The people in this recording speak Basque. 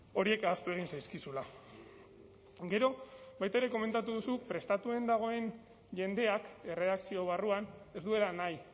horiek ahaztu egin zaizkizula gero baita ere komentatu duzu prestatuen dagoen jendeak erredakzio barruan ez duela nahi